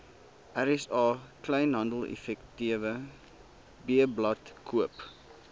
rsa kleinhandeleffektewebblad koop